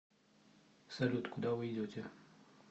салют куда вы идете